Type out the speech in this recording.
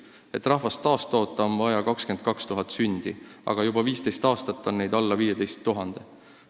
Selleks, et rahvast taastoota, on vaja 22 000 sündi aastas, aga juba 15 aastat on meil neid alla 15 000.